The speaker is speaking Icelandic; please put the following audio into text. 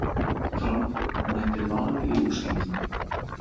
Fram mætir Val í úrslitum